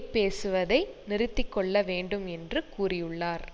பேசுவதை நிறுத்தி கொள்ள வேண்டும் என்று கூறியுள்ளார்